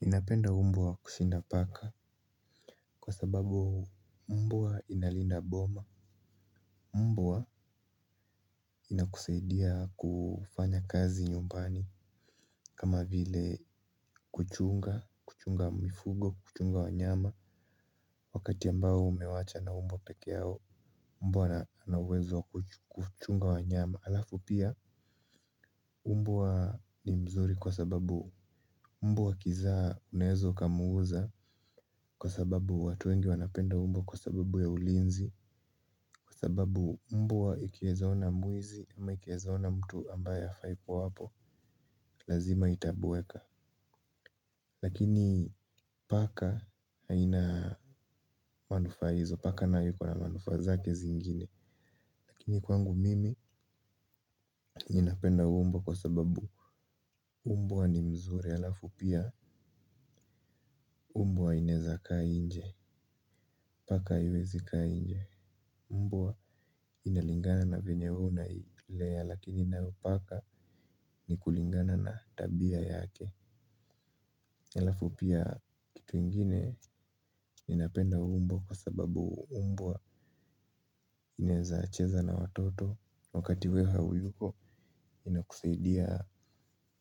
Ninapenda mbwa kushinda paka kwa sababu mbwa inalinda boma. Mbwa inakusaidia kufanya kazi nyumbani kama vile kuchunga, kuchunga mifugo, kuchunga wanyama wakati ambao umewacha na mbwa peke yao. Mbwa ana uwezo wa kuchunga wanyama alafu pia mbwa ni mzuri kwa sababu mbwa akizaa unaweza ukamuuza kwa sababu watu wengi wanapenda mbwa kwa sababu ya ulinzi. Kwa sababu mbwa ikieza ona mwizi ama ikieza ona mtu ambaye hafai kuwa hapo, lazima itabweka. Lakini paka haina manufaa hizo. Paka na yuko na manufaa zake zingine. Lakini kwangu mimi napenda mbwa kwa sababu mbwa ni mzuri alafu pia mbwa inaeza kaa nje. Paka haiwezi kaa nje. Mbwa inalingana na venye wewe unailea lakini nayo paka ni kulingana na tabia yake. Halafu pia kitu ingine ninapenda mbwa kwa sababu mbwa inaeza cheza na watoto. Wakati wewe hauko inakusaidia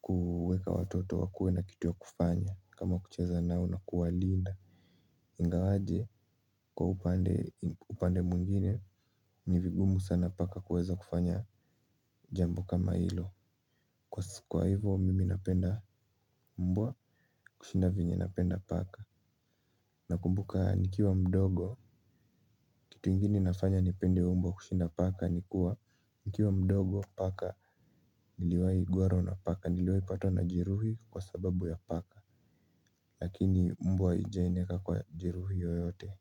kuweka watoto wakuwe na kitu ya kufanya kama kucheza nao na kuwalinda. Ingawaje kwa upande mwingine ni vigumu sana paka kuweza kufanya jambo kama hilo. Kwa hivo mimi napenda mbwa kushinda vyenye napenda paka. Nakumbuka nikiwa mdogo kitu ingine inafanya nipende mbwa kushinda paka ni kuwa nikiwa mdogo paka niliwahi gwarwa na paka, niliwahi patwa na jeruhi kwa sababu ya paka. Lakini mbwa haijahi nieka kwa jeruhi yoyote.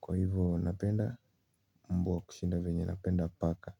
Kwa hivo napenda mbwa kushinda venye napenda paka.